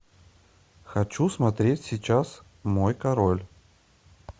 хочу смотреть сейчас мой король